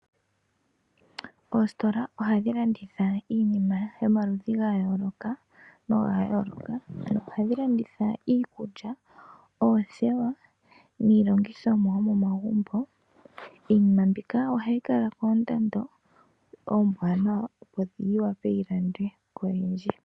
Oositola ohadhi landitha iinima yomaludhi ga yooloka noga yooloka ohadhi landitha iikulya, oothewa niilongithomwa yomomagumbo iinima mbika ohayi kala koondando oomwanawa opo yiwape yilandwe koyendji.